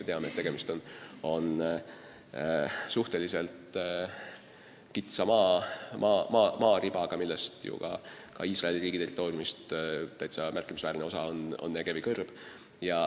Me teame, et tegemist on suhteliselt kitsa maaribaga, kusjuures ka Iisraeli riigi territooriumist märkimisväärne osa on Negevi kõrb.